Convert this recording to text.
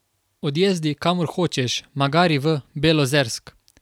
Odjezdi, kamor hočeš, magari v Belozersk.